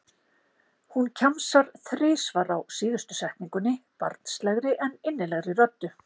Hún kjamsar þrisvar á síðustu setningunni, barnslegri en innilegri röddu.